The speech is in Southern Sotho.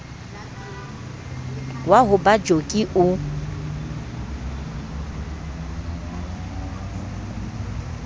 wa ho ba joki o